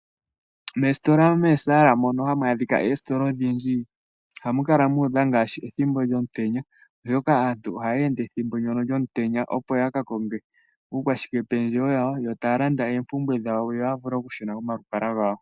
Meesitola meesaala mono hamu adhika oositola odhindji. Ohamukala muudha ngaashi ethimbo lyomutenya, oshoka aantu ohayeende ethimbo ndyono lyomutenya opo yakakonge uukwashike pendjewo wawo, yo taalanda eempumbwe dhawo yo yavule okushuna komalukalwa gawo.